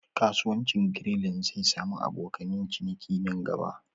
Kasuwancin Grilling zai sami abokan ciniki a nan gaba